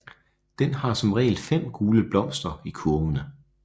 Den har som regel fem gule blomster i kurvene